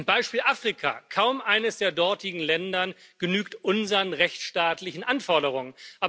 Beispiel Afrika Kaum eines der dortigen Länder genügt unseren rechtsstaatlichen Anforderungen.